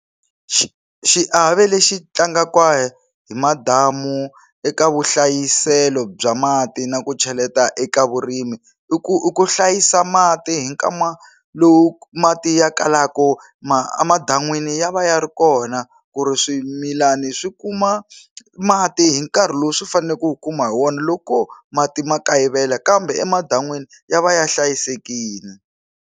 Xi xiave lexi tlangaka hi madamu eka vuhlayiselo bya mati na ku cheleta eka vurimi i ku i ku hlayisa mati hi nkama lowu mati ya kalaku ma a madan'wini ya va ya ri kona ku ri swimilana swi kuma mati hi nkarhi lowu swi fanele ku wu kuma hi wona loko mati ma kayivela kambe emadan'wini ya va ya hlayisekile.